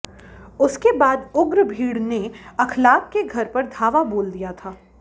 उसके बाद उग्र भीड़ ने अखलाक के घर पर धावा बोल दिया था